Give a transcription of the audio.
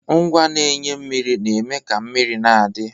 Ngwa na-enye mmiri na-eme ka mmiri na-adi.